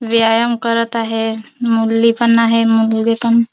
व्यायाम करत आहे मुरली पण आहे मुलगी पण--